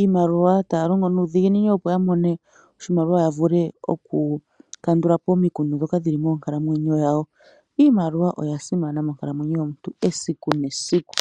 iimaliwa, taya longo nuudhiginini opo ya mone oshimaliwa ya vule oku kandula po omikundu dhoka dhili moonkalamwenyo dhawo . Iimaliwa oya simana moonkalamwenyo yomuntu esiku nesiku .